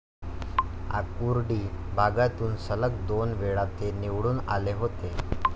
आकुर्डी भागातून सलग दोनवेळा ते निवडून आले होते.